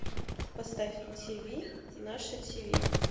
поставь на тиви наше тиви